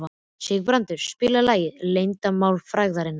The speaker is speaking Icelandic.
Sigurbrandur, spilaðu lagið „Leyndarmál frægðarinnar“.